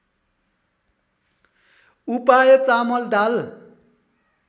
उपाय चामल दाल